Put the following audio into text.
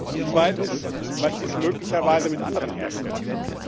Und zweitens Was ist möglicherweise mit anderen Herstellern?